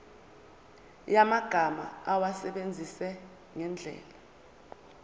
yamagama awasebenzise ngendlela